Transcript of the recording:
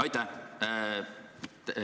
Aitäh!